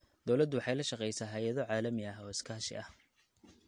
Dawladdu waxay la shaqaysaa hay�ado caalami ah oo iskaashi ah.